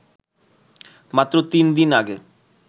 মাত্র তিন দিন আগে